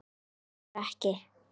Dugar ekki!